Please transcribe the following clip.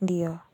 Ndiyo.